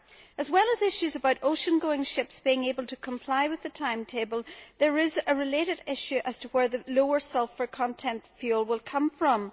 As well as issues about ocean going ships being able to comply with the timetable, there is a related issue as to where the lower sulphur content fuel will come from.